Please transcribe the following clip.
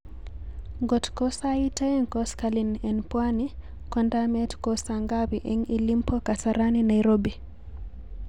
ng'ot ko sait oeng' koskolen en pwani kondamet ko sangapi en ilimpo kasarani nairobi